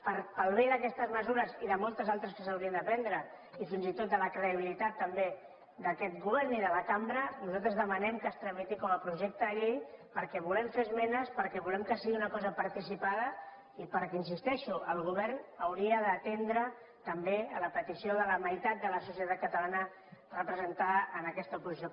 per al bé d’aquestes mesures i de moltes altres que s’haurien de prendre i fins i tot de la credibilitat també d’aquest govern i de la cambra nosaltres demanem que es tramiti com a projecte de llei perquè volem fer esmenes perquè volem que sigui una cosa participada i perquè hi insisteixo el govern hauria d’atendre també la petició de la meitat de la societat catalana representada en aquesta oposició